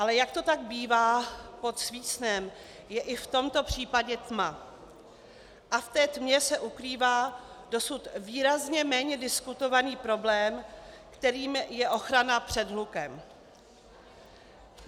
Ale jak to tak bývá, pod svícnem je i v tomto případě tma a v té tmě se ukrývá dosud výrazně méně diskutovaný problém, kterým je ochrana před hlukem.